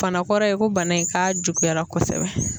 Bana kɔrɔ ye ko bana in k'a juguyara kosɛbɛ.